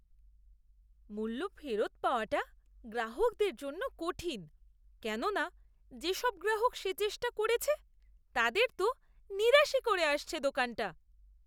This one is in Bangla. মূল্য ফেরত পাওয়াটা গ্রাহকদের জন্য কঠিন, কেননা যেসব গ্রাহক সে চেষ্টা করেছে, তাদের তো নিরাশই করে আসছে দোকানটা।